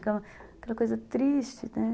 Aquela coisa triste, né?